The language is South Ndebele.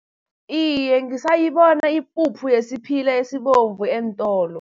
Iye, ngisayibona ipuphu yesiphila esibovu eentolo.